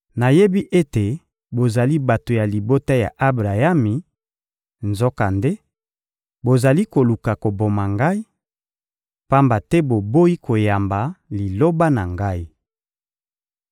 Nayebi ete bozali bato ya libota ya Abrayami; nzokande, bozali koluka koboma Ngai, pamba te boboyi koyamba Liloba na Ngai.